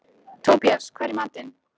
Tobías, hvað er í matinn?